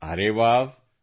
ಅರೆ ವ್ಹಾವ್